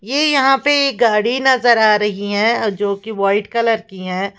ये यहां पर गाड़ी नजर आ रही है और जो की वाइट कलर की है।